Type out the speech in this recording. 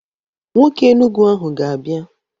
Nwoke Enugu ahụ ga-abia.